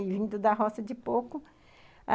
E vindo da roça de pouco.